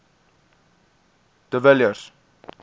de villiers